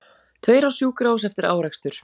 Tveir á sjúkrahús eftir árekstur